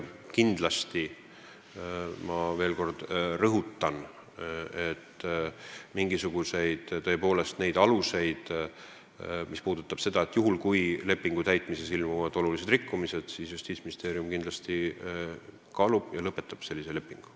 Kui selleks on mingisugune alus, näiteks lepingu täitmises ilmnevad olulised rikkumised, siis Justiitsministeerium kindlasti seda kaalub ja sellisel juhul lõpetab lepingu.